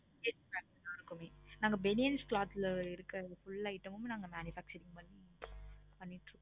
நாங்க banians cloth ல உள்ள full item ஹம் நாங்க manufacturing பன்றோம். பண்ணிட்டு இருக்கோம்.